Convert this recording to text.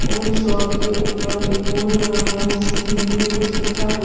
और इस शॉप के उपर एक बोर्ड लगा हुआ है जिसमें हिंदी में कुछ लिखा हुआ--